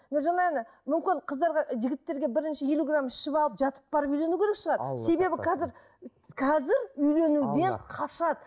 мүмкін қыздарға жігіттерге бірінші елу грамм ішіп алып жатып барып үйлену керек шығар себебі қазір қазір үйленуден қашады